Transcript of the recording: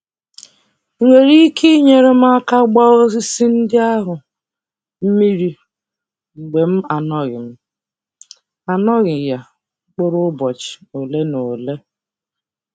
Ị nwere ike inyere m aka gbaa osisi ndị ahụ mmiri mgbe m anoghị m anoghị ya mkpụrụ ụbọchị ole na ole?